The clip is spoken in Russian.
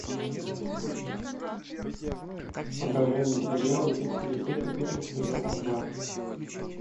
покажи мне сериал убить или быть убитым сезон два